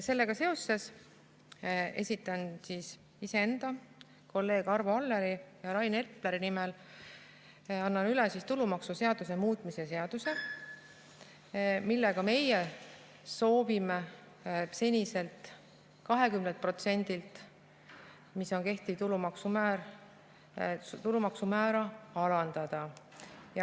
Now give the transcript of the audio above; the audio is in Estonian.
Sellega seoses esitan iseenda, kolleegide Arvo Alleri ja Rain Epleri nimel tulumaksuseaduse muutmise seaduse, millega meie soovime seniselt 20%‑lt, mis on kehtiv tulumaksumäär, tulumaksumäära alandada.